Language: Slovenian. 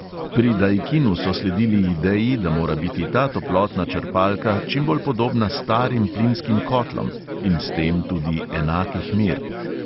Pri daikinu so sledili ideji, da mora biti ta toplotna črpalka čim bolj podobna starim plinskim kotlom in s tem tudi enakih mer.